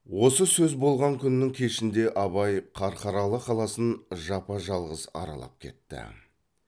осы сөз болған күннің кешінде абай қарқаралы қаласын жапа жалғыз аралап кетті